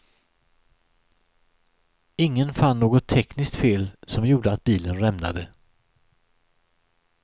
Ingen fann något tekniskt fel som gjorde att bilen rämnade.